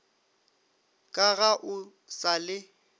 ka ga o sa le